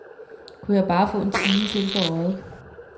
Kunne jeg bare få en time til på øjet.